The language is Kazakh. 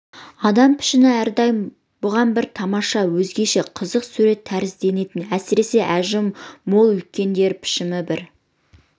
адам пішіні әрдайым бұған бір тамаша өзгеше қызық сурет тәрізденетін әсіресе әжімі мол үлкендер пішіні бір